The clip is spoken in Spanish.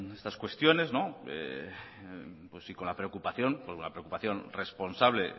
estas cuestiones con la preocupación con la preocupación responsable